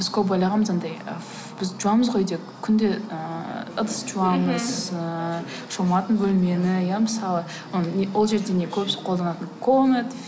біз көп ойлағанбыз анадай біз жуамыз ғой үйде күнде ыыы ыдыс жуамыз ыыы шомылатын бөлмені иә мысалы не ол жерде не көп қолданатын коммет